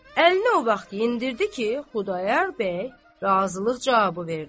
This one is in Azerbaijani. Əlini o vaxt endirdi ki, Xudayar bəy razılıq cavabı verdi.